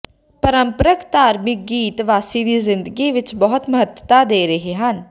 ਪਾਰੰਪਰਕ ਧਾਰਮਿਕ ਗੀਤ ਵਾਸੀ ਦੀ ਜ਼ਿੰਦਗੀ ਵਿਚ ਬਹੁਤ ਮਹੱਤਤਾ ਦੇ ਰਹੇ ਹਨ